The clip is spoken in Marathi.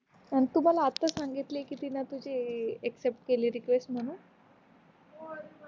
आण तू मला आता सांगितल किन कि तीन तुझी एक्सेप्ट केली रिक्वेस्ट म्हणून